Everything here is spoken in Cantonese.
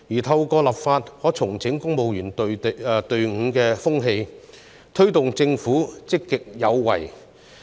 透過立法，可整肅公務員隊伍的風氣，推動政府積極有為。